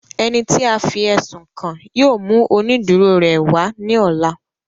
Ẹni tí a fí ẹ̀sùn kàn yóò mú oniduro rẹ̀ wá ní ọ̀la